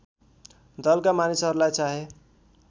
दलका मानिसहरूलाई चाहे